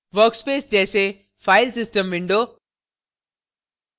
workspaces जैसे file system window